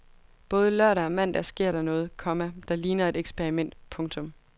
Både lørdag og mandag sker der noget, komma der ligner et eksperiment. punktum